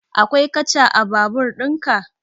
Akwai katcha a babur ɗin ka?